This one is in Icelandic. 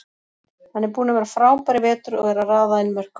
Hann er búinn að vera frábær í vetur og er að raða inn mörkum.